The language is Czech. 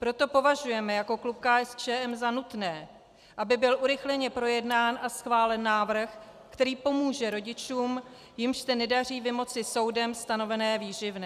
Proto považujeme jako klub KSČM za nutné, aby byl urychleně projednán a schválen návrh, který pomůže rodičům, jimž se nedaří vymoci soudem stanovené výživné.